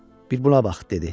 Bir buna bax, dedi.